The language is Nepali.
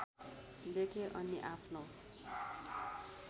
लेखेँ अनि आफ्नो